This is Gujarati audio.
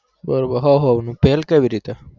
બરોબર હું હ્વનું ભેલ કેવી રીતે